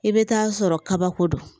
I bɛ taa sɔrɔ kabako don